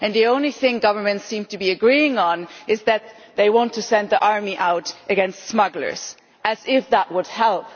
The only thing governments seem to be agreeing on is that they want to send their armies out against smugglers as if that would help.